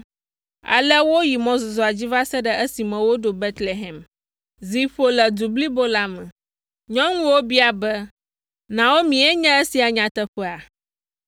ale woyi mɔzɔzɔa dzi va se ɖe esime woɖo Betlehem. Zi ƒo le du blibo la me. Nyɔnuwo bia be, “Naomi nye esia nyateƒea?”